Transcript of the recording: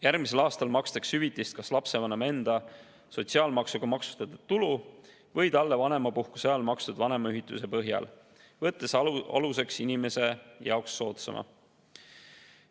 Järgmisel aastal makstakse hüvitist kas lapsevanema enda sotsiaalmaksuga maksustatud tulu või talle vanemapuhkuse ajal makstud vanemahüvitise põhjal, võttes aluseks inimese jaoks soodsama.